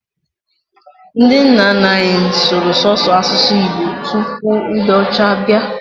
Ndi nna nna anyi sụrụ sọsọ asusu igbo tụpụ ndi ọcha bia.